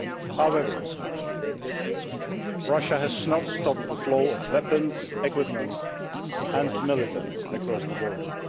soil. However, Russia has not stopped the flow of weapons, equipment and militants across the border